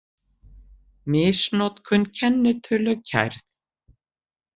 Misnotkun kennitölu kærð